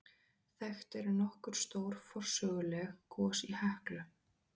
Þekkt eru nokkur stór forsöguleg gos í Heklu.